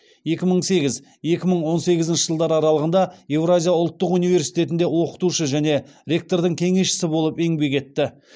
екі мың сегіз екі мың он сегізінші жылдар аралығында евразия ұлттық университетінде оқытушы және ректордың кеңесшісі болып еңбек етті